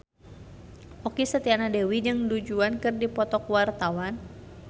Okky Setiana Dewi jeung Du Juan keur dipoto ku wartawan